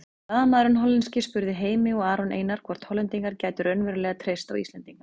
Blaðamaðurinn hollenski spurði Heimi og Aron Einar hvort Hollendingar gætu raunverulega treyst á Íslendinga.